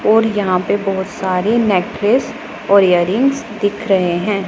और यहां पे बहोत सारे नेकलेस और इयरिंग्स दिख रहे है।